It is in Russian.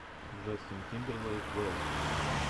джастин тимберлейк вево